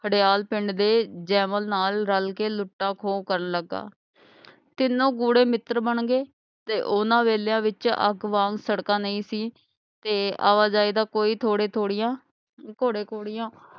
ਘੜਿਆਲ ਪਿੰਡ ਦੇ ਜੇਵਲ ਨਾਲ ਰਲ ਕੇ ਲੁਟਾ ਖੋ ਕਰਨ ਲਗਾ ਤੀਨੋ ਗੂੜੇ ਮਿੱਤਰ ਬਣਗੇ ਤੇ ਉਹਨਾਂ ਵੇਲਿਆਂ ਵਿੱਚ ਅਬ ਵਾਂਗ ਸੜਕਾਂ ਨਹੀਂ ਸੀ ਤੇ ਆਵਾ ਜਾਈ ਦਾ ਕੋਈ ਥੋੜੇ ਥੋੜੀਆਂ ਘੋੜੇ ਘੋੜਿਆਂ